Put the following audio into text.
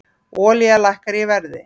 Olía lækkar í verði